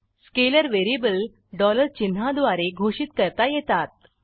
scalar variable dollar चिन्हा द्वारे घोषित करता येतात